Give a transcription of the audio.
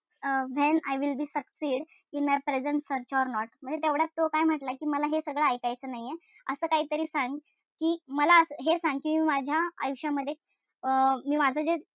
And I will be succed in my present search or not तेवढ्यात तो काय म्हंटला कि मला हे सगळं ऐकायचं नाहीये. असं काहीतरी सांग कि मला हे सांग कि माझ्या आयुष्यामध्ये अं मी माझं जे,